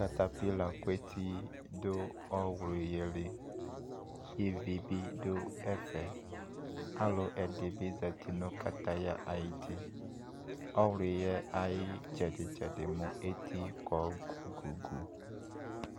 Katapila ku eti do ɔwlu yɛ li, Ivi be do ɛfɛ Alɔɛdɛ be zati no kataya ayiti Ɔwluɛ aye tsɛde tsɛde mo eti kɔ gugugu